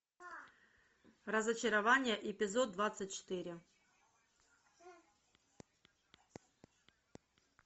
разочарование эпизод двадцать четыре